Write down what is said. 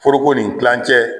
Foro nin kilancɛ